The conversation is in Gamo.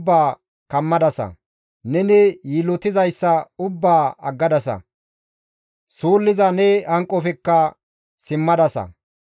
Neni yiillotizayssa ubbaa aggadasa; suulliza ne hanqofekka simmadasa.